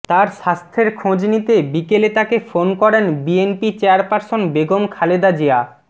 তার স্বাস্থ্যের খোঁজ নিতে বিকেলে তাকে ফোন করেন বিএনপি চেয়ারপারসন বেগম খালেদা জিয়া